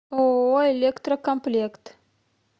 ооо электрокомплект